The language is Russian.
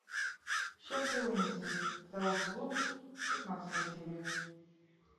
счастливы вместе второй сезон пятнадцатая серия